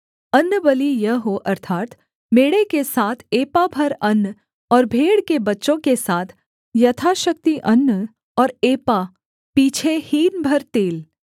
अन्नबलि यह हो अर्थात् मेढ़े के साथ एपा भर अन्न और भेड़ के बच्चों के साथ यथाशक्ति अन्न और एपा पीछे हीन भर तेल